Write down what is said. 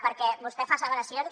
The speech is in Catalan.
perquè vostè fa asseveracions